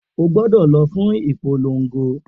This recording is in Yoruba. O gbọdọ lọ fún ìpolongo